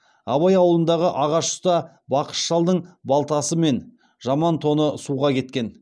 абай ауылындағы ағаш ұста бақыш шалдың балтасы мен жаман тоны суға кеткен